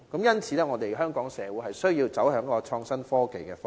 因此，香港社會需要走向創新科技的方向。